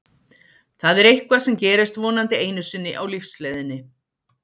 Það er eitthvað sem gerist vonandi einu sinni á lífsleiðinni.